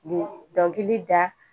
Dɔnkili da